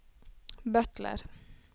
butler